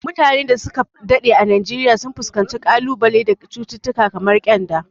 Mutanen da su ka daɗe a Najeriya sun fuskanci kalubale da cututtuka kamar kyanda.